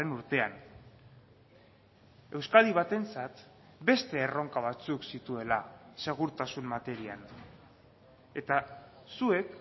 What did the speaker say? urtean euskadi batentzat beste erronka batzuk zituela segurtasun materian eta zuek